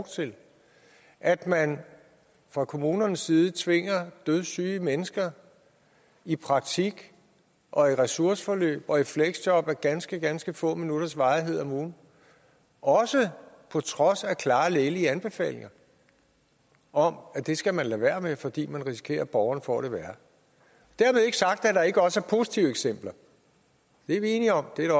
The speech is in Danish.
til at man fra kommunernes side tvinger dødssyge mennesker i praktik og i ressourceforløb og i fleksjob af ganske ganske få minutters varighed om ugen også på trods af klare lægelige anbefalinger om at det skal man lade være med fordi man risikerer at borgerne får det værre dermed ikke sagt at der ikke også er positive eksempler det er vi enige om det er